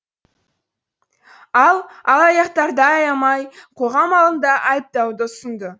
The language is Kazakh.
ал алаяқтарды аямай қоғам алдында айыптауды ұсынды